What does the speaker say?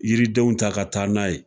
Yiridenw ta ka taa n'a ye